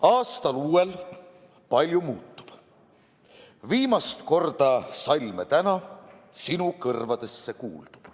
Aastal uuel palju muutub, viimast korda salme täna sinu kõrvadesse kuuldub.